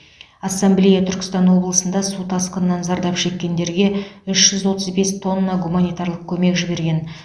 ассамблея түркістан облысында су тасқынынан зардап шеккендерге үш жүз отыз бес тонна гуманитарлық көмек жіберген